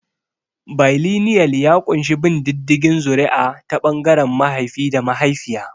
Bailinial ya ƙunshi bin diddigin zuri'a ta ɓangaren mahaifi da mahaifiya.